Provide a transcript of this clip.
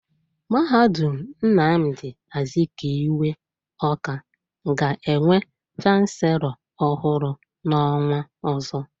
Mahadum Nnamdi Azikiwe, Ọ́ká, ga-enwe chanselọ ọhụrụ n'ọnwa ọzọ.